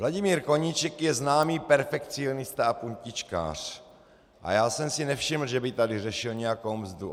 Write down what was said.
Vladimír Koníček je známý perfekcionista a puntičkář a já jsem si nevšiml, že by tady řešil nějakou mzdu.